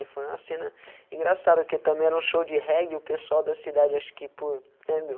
E foi uma cena engraçada, porque também era um show de reggae, o pessoal da cidade, acho que, por, né, meu?